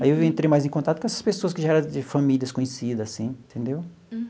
Aí eu entrei mais em contato com essas pessoas que já era de famílias conhecidas, assim, entendeu?